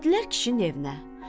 Gəldilər kişinin evinə.